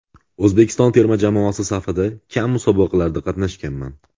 O‘zbekiston terma jamoasi safida kam musobaqalarda qatnashganman.